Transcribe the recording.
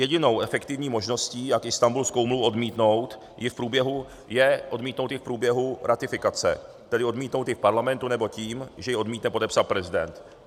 Jedinou efektivní možností, jak Istanbulskou úmluvu odmítnout, je odmítnout ji v průběhu ratifikace, tedy odmítnout ji v Parlamentu nebo tím, že ji odmítne podepsat prezident.